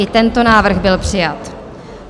I tento návrh byl přijat.